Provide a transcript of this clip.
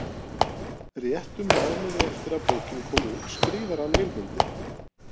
Réttum mánuði eftir að bókin kom út skrifar hann Vilmundi